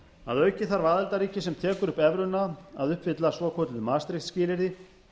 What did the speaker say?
að auki þarf aðildarríki sem tekur upp evruna að uppfylla svokölluð maastricht skilyrði